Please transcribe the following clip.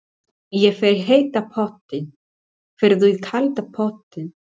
Ég fer í heita pottinn. Ferð þú í kalda pottinn?